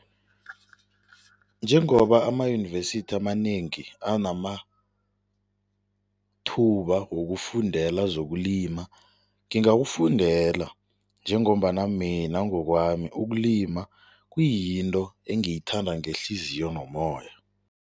Njengoba amayunivesithi amanengi anamathuba wokufundela zokulima, ngingakufundela njengombana mina ngokwami ukulima kuyinto engiyithanda ngehliziyo nomoya.